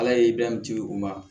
Ala ye bɛɛ di u ma